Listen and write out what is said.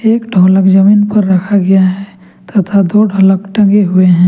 एक ढोलक जमीन पर रखा गया है तथा दो ढोलक टंगे हुए हैं।